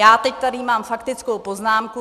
Já teď tady mám faktickou poznámku.